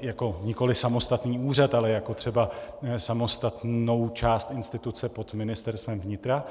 jako nikoli samostatný úřad, ale jako třeba samostatnou část instituce pod Ministerstvem vnitra.